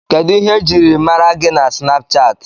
Kedu ihe ejiri ma gi na Snapuchati?